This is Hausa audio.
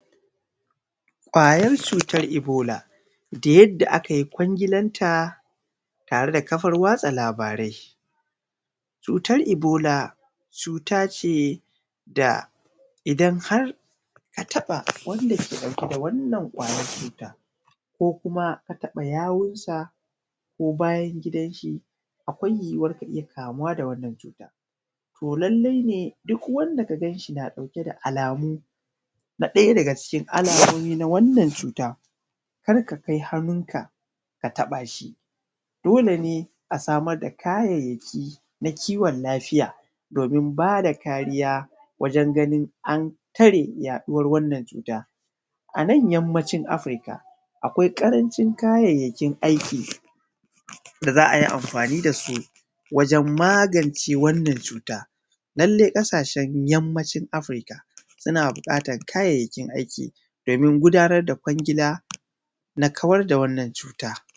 kwayar cutar ibola da yadda ake kwanglan ta tare da kafan watsa labarai cutar ibola cutace da idan ka taba wanda yake dau ke da wannan cutar ko kuma ka taba yawun sa ko bayan gidar shi akwai yuwuwar ka iyya kamuwa da wannan cutar to lallai ne duk wanda kagan shi da alamu na daya daga cikin wannan cuta karka kai hannunnka ka tabashi dole ne a samar da kayayyaki na kiwon lafiya don bada kariya wajen ganin an tare yaduwan wannan cuta anan yammacin afirika akwai karancin kayayyakin aiki da za’ai amfani dasu dan kare ya duwan wannan cuta lallai kasashen yammacin afirika suna bukatan kayayyaki aiki domin gudanar da kwangila na kawar da wannan cuta